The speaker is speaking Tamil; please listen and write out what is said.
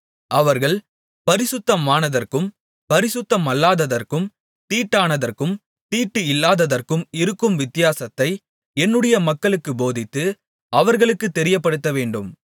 அவர்கள் பரிசுத்தமானதற்கும் பரிசுத்தமல்லாததற்கும் தீட்டானதற்கும் தீட்டு இல்லாததற்கும் இருக்கும் வித்தியாசத்தை என்னுடைய மக்களுக்குப் போதித்து அவர்களுக்குத் தெரியப்படுத்தவேண்டும்